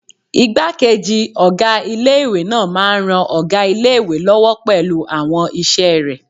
Ìgbákejì ọgá ilé-ìwé náà máa n ran ọgá ilé-ìwé lọ́wọ́ pẹ̀lú àwọn iṣẹ́ rẹ̀